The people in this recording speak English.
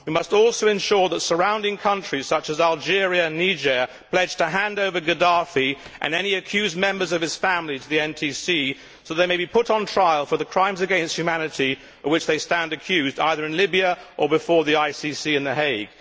We must also ensure that surrounding countries such as Algeria and Niger pledge to hand over Gaddafi, and any accused members of his family, to the NTC so that they may be put on trial for the crimes against humanity for which they stand accused, either in Libya, or before the ICC in The Hague.